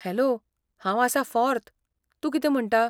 Hello, हांव आसां फॉर्त, तूं कितें म्हणटा?